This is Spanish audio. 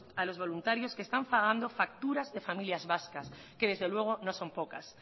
a los voluntarios que están pagando facturas de familias vascas que desde luego no son pocas